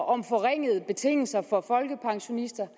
om forringede betingelser for folkepensionister